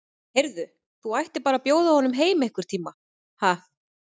Heyrðu. þú ættir bara að bjóða honum heim einhvern tíma, ha.